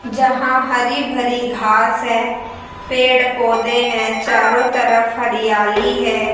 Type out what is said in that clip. जहां हरी भरी घास है पेड़ पौधे हैं चारों तरफ हरियाली है।